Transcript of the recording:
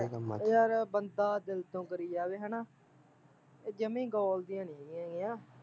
ਯਾਰ ਬੰਦਾ ਦਿਲ ਤੋਂ ਕਰੀ ਜਾਵੇ ਹੈਨਾ ਏਹ ਜਮੀ ਗੋਲਦੀਆਂ ਨੀ ਹੈਗੀਆ ਗੀਂਆ